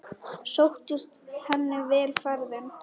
Sóttist henni vel ferðin.